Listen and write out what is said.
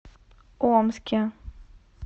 омске